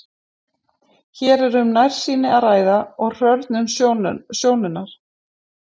hér er um nærsýni að ræða og hrörnun sjónunnar